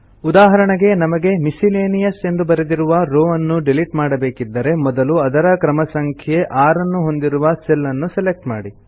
ಉದಾಹರಣೆಗೆ ನಮಗೆ ಮಿಸ್ಸೆಲೇನಿಯಸ್ ಎಂದು ಬರೆದಿರುವ ರೋವ್ ಅನ್ನು ಡಿಲಿಟ್ ಮಾಡಬೇಕಿದ್ದರೆ ಮೊದಲು ಅದರ ಕ್ರಮ ಸಂಖ್ಯೆ 6 ಅನ್ನು ಹೊಂದಿರುವ ಸೆಲ್ ಅನ್ನು ಸೆಲೆಕ್ಟ್ ಮಾಡಿ